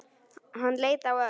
Hann leit á Örn.